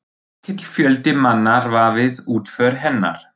Mikill fjöldi manna var við útför hennar.